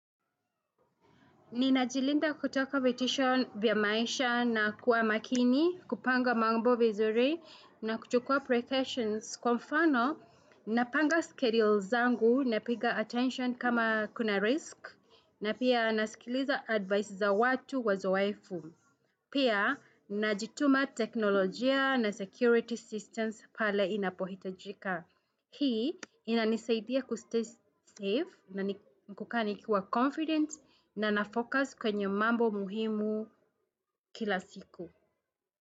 Ninajilinda kutoka vitisho vya maisha na kuwa makini, kupanga mambo vizuri na kuchukua precautions kwa mfano, napanga skerils zangu napiga attention kama kuna risk na pia nasikiliza advice za watu wazoefu. Pia, ninajituma teknolojia na security systems pale inapohitajika. Hii, inanisaidia kustay safe na ni kukaa nikiwa confident na nafocus kwenye mambo muhimu kila siku.